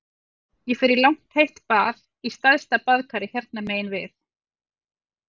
Ég fer í langt heitt bað í stærsta baðkari hérna megin við